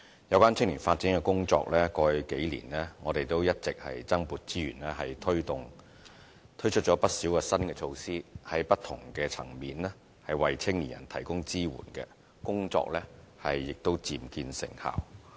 有關青年發展工作，過去數年我們一直增撥資源推動，推出了不少新的措施，在不同的層面為青年人提供支援，工作亦漸見成效。